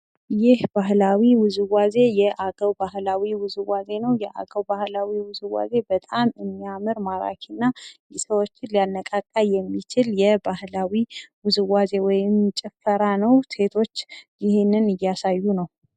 ይህ ባህላዊ ውዝዋዜ የአገው ባህላዊ ውዝዋዜ ነው። የአገው ባህላዊ ውዝዋዜ በጣም የሚያምር ማራኪና ሰዎችን ሊያነቃቃ የሚችል የባህላዊ ውዝዋዜ ወይም ጭፈራ ነው። ሴቶች ይህንን እያሳዩ ነው።